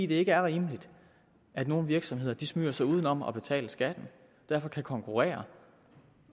det er ikke rimeligt at nogle virksomheder smyger sig uden om at betale skatten og derfor kan konkurrere